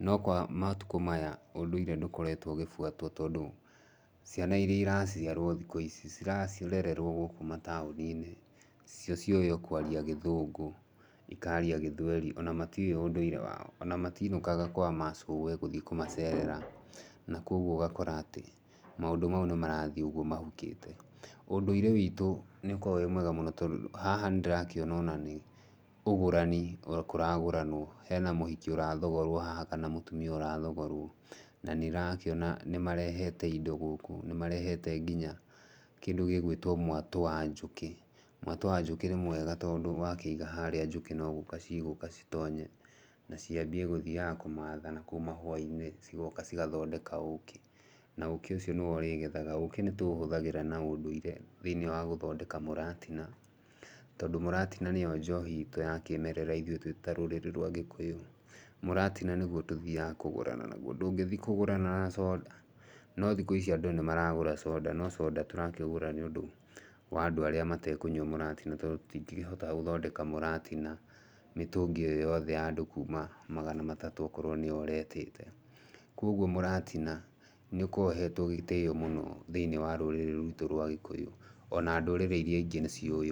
No kwa matukũ maya ũndũire ndũkoretwo ũkibuatwo, tondũ ciana ĩria iraciarwo thikũ-ici cirarererwo gũkũ mataũni-inĩ cio cĩũwĩ o kwaria gĩthũngũ, ikaria gĩthweri, ona matiũwĩ ũndũire wao, ona matinũaga kwa macũwe gũthiĩ kũmacerera, na kogwo ũgakora atĩ maũndũ mau nĩmarathiĩ ũguo mahukĩte, na ũndũire witũ nĩũkoragwo wĩ mwega mũno tondũ haha nĩndĩrakĩona ona nĩ ũgũrani kũragũranwo, hena mũhiki ũrathogorwo haha, kana mũtumia ũrathogorwo, na nĩ ndĩrakĩona nĩ marehete indo gũkũ, nĩmarehete kĩndũ gĩgwitwo mwatũ wa njũkĩ. Mwatũ wa njũkĩ nĩ mwega, tondũ wa kĩiga harĩa no gũka cigũka citonye na ciambie gũthiaga kũmatha na kũu mahũa-ina cigoka cĩgathondeka ũkĩ, na ũkĩ ũcio nĩwe ũrĩgethaga, na ũkĩ nĩ tũũhũthĩraga na ũndũire thĩiniĩ wa gũthondeka mũratina, tondũ mũratina nĩyo njohi itũ ya kĩmerera ithuĩ twĩ ta rũrĩrĩ rwitũ rwa Gikũyũ, mũratina nĩguo tũthiaga kũgũrana naguo, ndũngĩthiĩ kũgũrana na soda. No thikũ ici andũ nĩ maragũtra soda no s soda tũragũra nĩũndũ wa nadũ arĩa matekũnyua mũratina, tondũ tũtingĩkĩhota gũthondeka mũratina mĩtũngĩ-ĩyo yothe ya andũ kuuma magana matatũ akorwo nĩo ũretĩte. Kwoguo mũratina nĩ ũkoragwo ũhetwo gĩtĩo mũno thĩiniĩ wa rũrĩrĩ rũrũ rwitũ rwa Gikũyũ, ona ndũrĩrĩ irĩa ingĩ nĩ ciũwĩ.